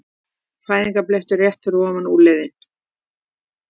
Fæðingarblettur rétt fyrir ofan úlnliðinn.